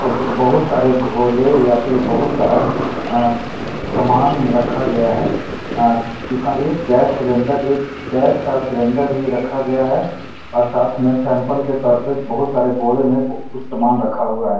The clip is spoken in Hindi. यहाँ पे बहुत सारे झोले या फिर बहुत सारा सामान रखा गया है एक गैस सिलेंडर एक गैस का सिलेंडर भी रखा गया है साथ में सैंपल के तौर पे बहुत सरे बोरे में बहुत सारा सामान रखा हुआ है।